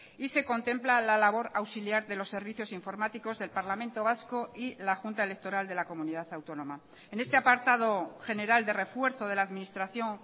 y se contempla la labor auxiliar de los servicios informáticos del parlamento vasco y la junta electoral de la comunidad autónoma en este apartado general de refuerzo de la administración